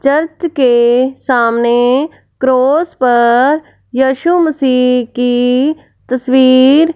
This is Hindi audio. चर्च के सामने क्रॉस पर यीशु मसीह की तस्वीर--